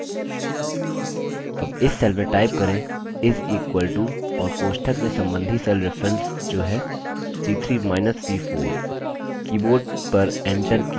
अब इस cell में type करें = और कोष्ठक में सम्बन्धी cell references जो है c3 minus c4